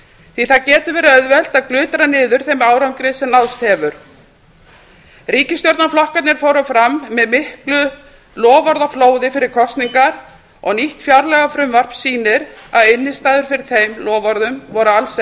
því að það getur verið auðvelt að glutra niður þeim árangri sem náðst hefur ríkisstjórnarflokkarnir fóru fram með miklu loforðaflóði fyrir kosningar og nýtt fjárlagafrumvarp sýnir að innstæður fyrir þeim loforðum voru alls